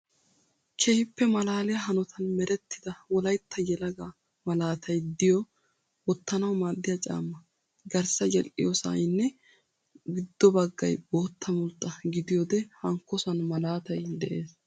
keehippe malaaliyaa hanotan merettida wolayitta yelagaa malaatayi diyoo wottanawu maaddiyaa caammaa. Garssa yedhdhiyoosayinne giddo baggayi bootta mulxxa gidiyoode hankkosan maalaatayi des.